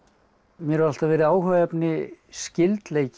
mér hefur alltaf verið áhugaefni skyldleiki